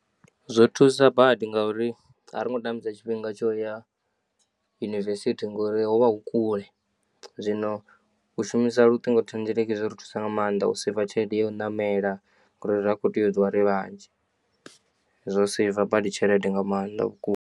Zwo thusa badi ngauri a ri ngo tambisa tshifhinga tshoya yunivesithi ngori hovha hu kule zwino u shumisa luṱingo thendeleki zwori thusa nga maanḓa u seiva tshelede yo namela ngori ra kho tea u ṱuwa ri vhanzhi, zwo seiva badi tshelede nga maanḓa vhukuma.